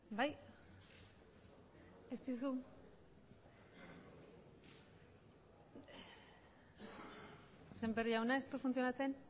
semper jauna ez du funtzionatzen